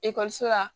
Ekɔliso la